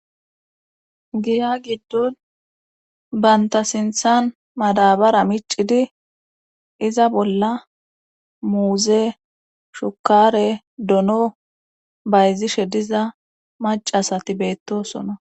Giya giddon banta sinthan madabara micidi iza bolla muuze shukare dono bayzishe diza macasati beettosona.